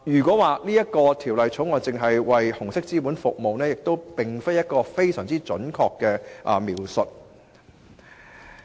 所以，《條例草案》只為紅色資本服務的說法，並不十分準確。